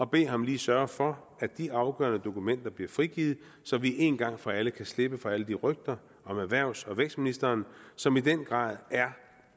bede ham sørge for at de afgørende dokumenter bliver frigivet så vi en gang for alle kan slippe for alle de rygter om erhvervs og vækstministeren som i den grad er